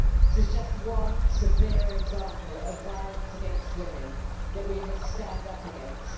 This is just one, severe, example of violence against women that we must stand up against.